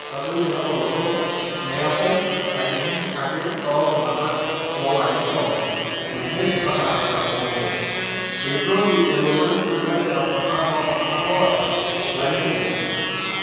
etadoyie ina lototo neekau katitin are tooltung'anak loolarin tomon oimiet mpaka artam ooudo. eitoki elototo esipitali apona tooltung'anak oota ilarin kumok